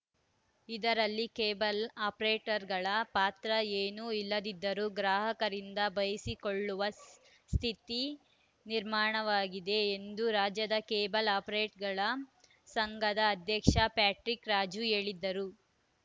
ಇದರಲ್ಲಿ ಕೇಬಲ್‌ ಆಪರೇಟರ್‌ಗಳ ಪಾತ್ರ ಏನು ಇಲ್ಲದಿದ್ದರೂ ಗ್ರಾಹಕರಿಂದ ಬೈಯಿಸಿಕೊಳ್ಳುವ ಸ್ಥಿತಿ ನಿರ್ಮಾಣವಾಗಿದೆ ಎಂದು ರಾಜ್ಯ ಕೇಬಲ್‌ ಆಪರೇಟರ್‌ಗಳ ಸಂಘದ ಅಧ್ಯಕ್ಷ ಪ್ಯಾಟ್ರಿಕ್‌ ರಾಜು ಹೇಳಿದರು